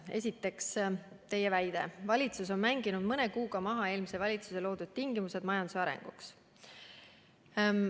Esiteks te väidate, et valitsus on mänginud mõne kuuga maha eelmise valitsuse loodud tingimused majanduse arenguks.